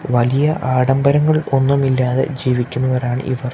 വ ലിയ ആഡംബരങ്ങൾ ഒന്നും ഇല്ലാതെ ജീവിക്കുന്നവരാണ് ഇവർ.